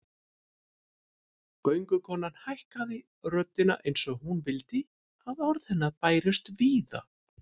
Göngukonan hækkaði röddina eins og hún vildi að orð hennar bærust víða